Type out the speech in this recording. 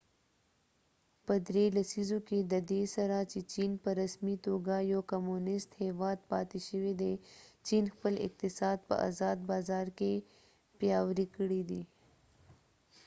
په درې لسیزو کې ددې سره چې چېن په رسمی توګه یو کمونست هیواد پاتی شوي دي چېن خپل اقتصاد په ازاد بازار کې پیاوری کړي دي